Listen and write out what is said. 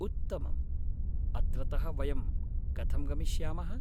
उत्तमम्। अत्रतः वयं कथं गमिष्यामः?